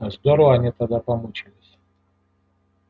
здорово они тогда помучались